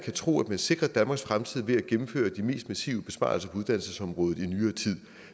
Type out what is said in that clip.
tro at man sikrer danmarks fremtid ved at gennemføre de mest massive besparelser på uddannelsesområdet i nyere tid